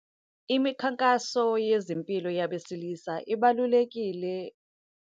Imikhankaso yezempilo yabesilisa ibalulekile.